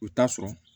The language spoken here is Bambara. U t'a sɔrɔ